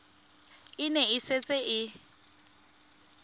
e ne e setse e